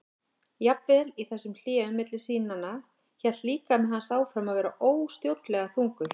Jafnvel í þessum hléum milli sýnanna hélt líkami hans áfram að vera óstjórnlega þungur.